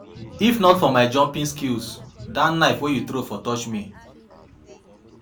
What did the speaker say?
If not for my jumping skills dat knife wey you throw for touch me